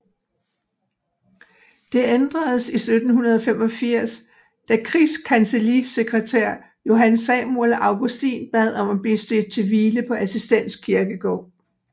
Det ændredes i 1785 da krigskancellisekretær Johan Samuel Augustin bad om at blive stedt til hvile på Assistens Kirkegård